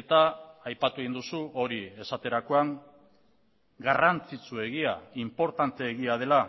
eta aipatu egin duzu hori esaterakoan garrantzitsuegia inportanteegia dela